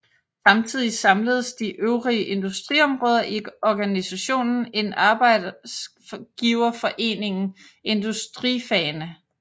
Samtidig samledes de øvrige industriområder i organisationen Arbejdsgiverforeningen Industrifagene